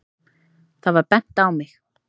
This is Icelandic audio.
Það var bent á mig.